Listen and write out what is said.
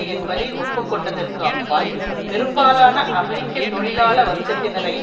என்பதை ஒப்பு கொண்டதற்கு அப்பால் பெரும்பாலான அமெரிக்க தொழிலாள வர்க்கத்தினரை